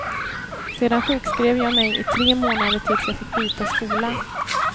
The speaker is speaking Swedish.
Sedan sjukskrev jag mig i tre månader tills jag fick byta skola.